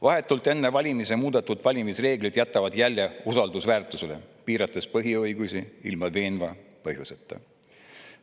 Vahetult enne valimisi muudetud valimisreeglid jätavad jälje usaldusväärsusele, piirates põhiõigusi ilma veenva põhjuseta.